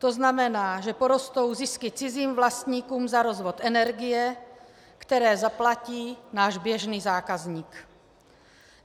To znamená, že porostou zisky cizím vlastníkům za rozvod energie, které zaplatí náš běžný zákazník.